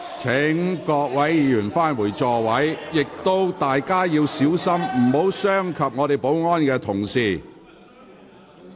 請各位議員返回座位，亦請大家小心，不要傷及保安人員。